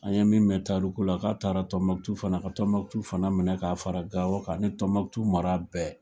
An ye min mɛ tariku la k'a taara Tombouctou fana ka Tombouctou fana minɛ k'a fara Gao kan ni Tombouctou mara bɛɛ.